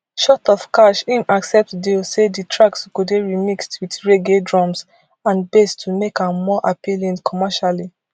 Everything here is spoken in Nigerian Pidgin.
short of cash im accept deal say di tracks go dey remixed wit reggae drum and bass to make am more appealing commercially